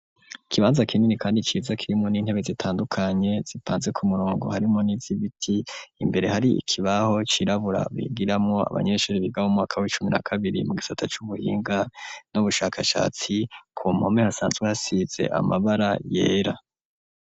Ikibanza kinini kandi ciza kirimwo n'intebe zitandukanye zipanze ku murongo harimwo n'izibiti imbere hari ikibaho cirabura bigiramwo abanyeshuri biga mu umwaka w'icumi na kabiri mu gisata c'ubuhinga n'ubushakashatsi ku mpome hasanzwe hasize amabara yera.